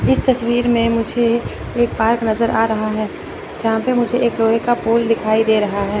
इस तस्वीर में मुझे एक पार्क नजर आ रहा है जहां पे मुझे एक लोहे का पोल दिखाई दे रहा है।